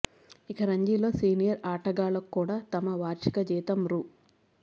ఇక రంజీలో సీనియర్ ఆటగాళ్లకు కూడా తమ వార్షిక జీతం రూ